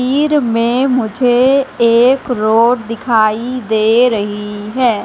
वीर में मुझे एक रोड दिखाई दे रही है।